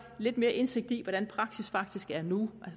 lidt mere indsigt i hvordan praksis faktisk er nu